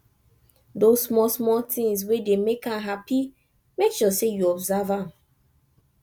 dose smal smal tins wey dey mek am hapi mek sure sey yu observe am